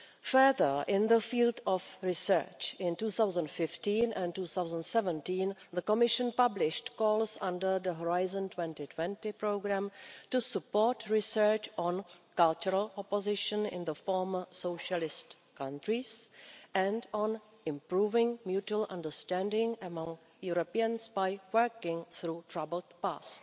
Further, in the field of research, in 2015 and 2017 the Commission published calls under the Horizon 2020 programme to support research on cultural opposition in the former socialist countries and on improving mutual understanding among Europeans by working through troubled past.